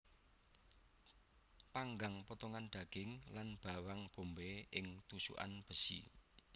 Panggang potongan daging lan bawang bombay ing tusukan besi